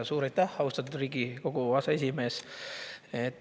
Suur aitäh, austatud Riigikogu aseesimees!